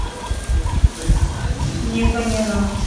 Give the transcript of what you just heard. не поняла